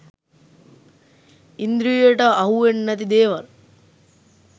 ඉන්ද්‍රියට අහුවෙන්නැති දේවල්